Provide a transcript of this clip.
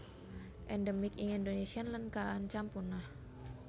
Endemik ing Indonésia lan kaancam punah